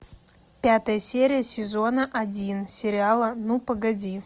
пятая серия сезона один сериала ну погоди